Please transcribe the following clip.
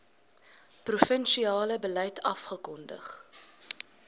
provinsiale beleid afgekondig